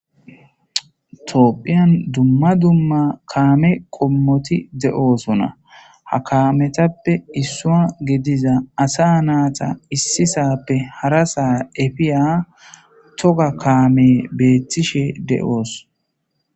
toophphiyan dumma dumma kaame kommoti de7oosona ha kaametappe issua gediza asa naata issisappe hara saa efiya toga kaame beettishe de7oos